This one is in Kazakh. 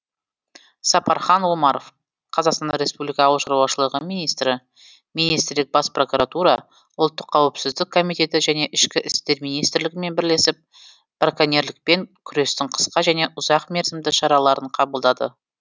сапархан омаров қазақстан республика ауыл шаруашылығы министрі министрлік бас прокуратура ұлттық қауіпсіздік комитеті және ішкі істер министрлігімен бірлесіп браконьерлікпен күрестің қысқа және ұзақ мерзімді шараларын қабылдады